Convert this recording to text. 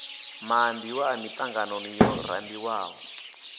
maambiwa a miṱanganoni yo rambiwaho